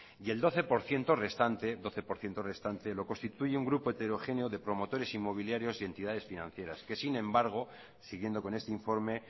y el doce por ciento restante lo constituye un grupo heterogéneo de promotores inmobiliarios y entidades financieras que sin embargo siguiendo con este informe